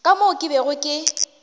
ka moo ke bego ke